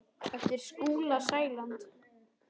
eftir Skúla Sæland.